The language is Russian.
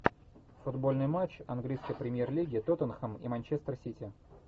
футбольный матч английской премьер лиги тоттенхэм и манчестер сити